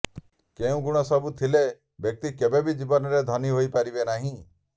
କେଉଁ ଗୁଣ ସବୁ ଥିଲେ ବ୍ୟକ୍ତି କେବେ ବି ଜୀବନରେ ଧନୀ ହୋଇ ପାରିବେ ନାହିଁ